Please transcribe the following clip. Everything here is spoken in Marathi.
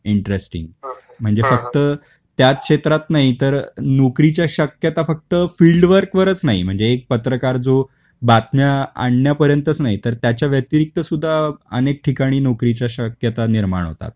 इन्टरेस्टिंग. म्हणजे फक्त त्या क्षेत्रात नाही तर नोकरीच्या शक्यता फक्त फील्डवर्क वरच नाही म्हणजे एक पत्रकार जो बातम्या आणण्या पर्यंतच नाही तर त्याच्या व्यतिरिक्त सुद्धा अनेक ठिकाणी नोकरी च्या शक्यता निर्माण होतात.